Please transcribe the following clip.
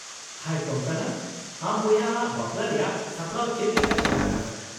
-ᱦᱟᱭ ᱠᱳᱝᱠᱚᱱᱟ ! ᱟᱢ ᱵᱚᱭᱦᱟ ᱟᱜ ᱵᱟᱯᱞᱟ ᱨᱮᱭᱟᱜ ᱥᱟᱯᱲᱟᱣ ᱪᱮᱫᱞᱮᱠᱟ ᱪᱟᱞᱟᱜ ᱠᱟᱱᱟ ?